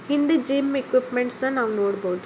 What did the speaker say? ಹಿಂದೆ gym equipments ನ ನಾವ್ ನೋಡಬೋದು.